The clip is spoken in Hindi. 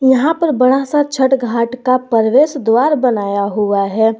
यहां पर बड़ा सा छठ घाट का प्रवेश द्वार बनाया हुआ है।